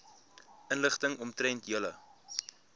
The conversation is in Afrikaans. inligting omtrent julle